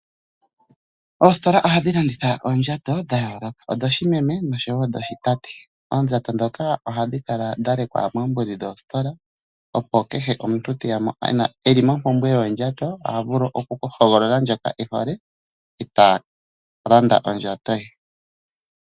Oositola ohadhi landitha oondjato dha yooloka, dhoshimeme osho wo dhoshitate. Oondjato dhoka ohadhi kala dha lekwa moombuli dhoositola opo kehe omuntu teya mo ena eli mopumbwe yoondjato oha vulu okuhogolola ndjoka e hole eta landa ondjato ye.